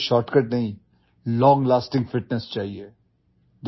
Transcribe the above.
आपको ଶର୍ଟକଟ୍ नहींlong lasting fitness चाहिए